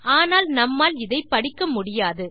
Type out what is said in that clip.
ஆனால் நம்மால் அதை படிக்க முடியாது